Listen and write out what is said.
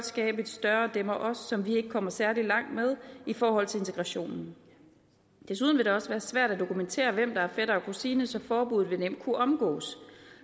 skabe et større dem og os som vi ikke kommer særlig langt med i forhold til integrationen desuden vil det også være svært at dokumentere hvem der er fætter og kusine så forbuddet vil nemt kunne omgås